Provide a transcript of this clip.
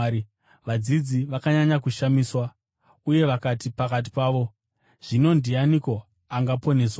Vadzidzi vakanyanya kushamiswa, uye vakati pakati pavo, “Zvino ndianiko angaponeswa?”